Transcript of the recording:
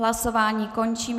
Hlasování končím.